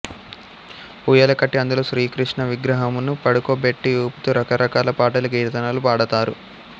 ఊయల కట్టి అందులో శ్రీకృష్ణ విగ్రహమును పడుకోబెట్టి ఊపుతూ రకరకాల పాటలు కీర్తనలు పాడతారు